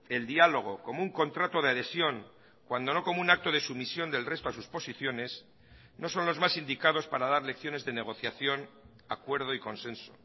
el diálogo como un contrato de adhesión cuando no como un acto de sumisión del resto a sus posiciones no son los más indicados para dar lecciones de negociación acuerdo y consenso